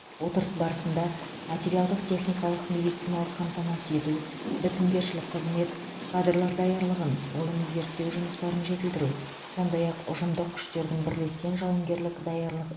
отырыс барысында материалдық техникалық медициналық қамтамасыз ету бітімгершілік қызмет кадрлар даярлығын ғылыми зерттеу жұмыстарын жетілдіру сондай ақ ұжымдық күштерінің бірлескен жауынгерлік даярлық